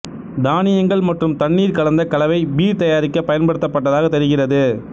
தானியங்கள் மற்றும் தண்ணீர் கலந்த கலவை பீர் தயாரிக்க பயன்படுத்தப்பட்டதாக தெரிகிறது